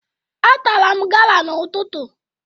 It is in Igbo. Atara m gala n'ụtụtụ